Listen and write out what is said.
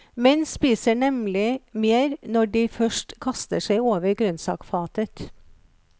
Menn spiser nemlig mer når de først kaster seg over grønnsakfatet.